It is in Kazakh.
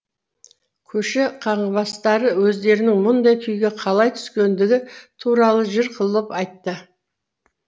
көше қаңғыбастары өздерінің мұндай күйге қалай түскендігі туралы жыр қылып айтты